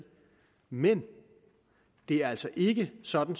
men det er altså ikke sådan